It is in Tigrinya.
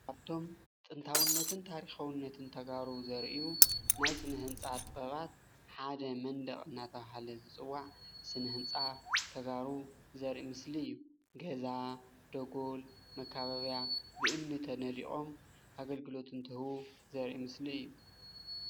ካብቶም ጥንታዊነትን ታሪካዊነትን ተጋሩ ዘርእዩ ናይ ስነ ህንፃ ጥበባት ሓደ መንደቅ እነዳተባሃለ ዝፅዋዕ ስነ ህንፃ ተጋሩ ዘርኢ ምስሊ እዩ፡፡ ገዛ፣ ደጎል፣ መከባብያ ብእምኒ ተነዲቆም ኣገልግሎት እንትህቡ ዘርኢ ምስሊ እዩ፡፡